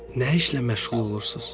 Nə işlə məşğul olursuz?